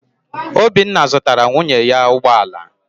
Obinna zụtara nwunye ya ụgbọ ala.